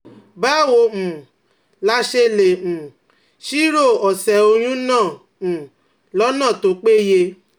Báwo um la ṣe lè um ṣírò ọ̀sẹ̀ oyún náà um lọ́nà tó péye?